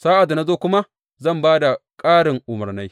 Sa’ad da na zo kuma zan ba da ƙarin umarnai.